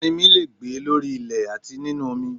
Ẹrinmi le è gbé lórí ilẹ̀ àti nínu omi